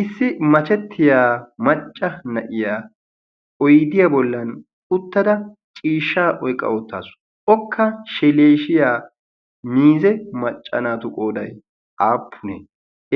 issi machettiya macca na'iya oydiyaa bollan uttada ciishsha oyqqa oottaasu okka sheleeshiya miize maccanaatu qooday aappunee